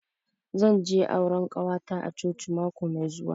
Zan je auran ƙawata a coci mako mai zuwa.